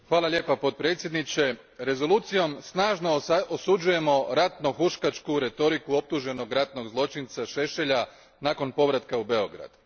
Gospodine potpredsjedniče, rezolucijom snažno osuđujemo ratno huškačku retoriku optuženog ratnog zločinca Šešelja nakon povratka u Beograd.